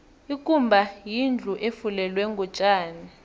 ikumba yindlu efulelwe ngotjani